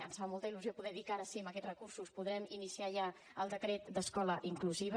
ens fa molta il·lusió poder dir que ara sí amb aquests recursos podrem iniciar ja el decret d’escola inclusiva